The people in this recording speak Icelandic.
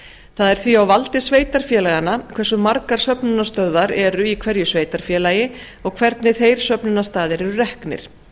það er því á valdi sveitarfélaganna hversu margar söfnunarstöðvar eru í hverju sveitarfélagi og hvernig þeir söfnunarstaðir eru reknir